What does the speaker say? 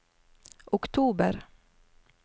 oktober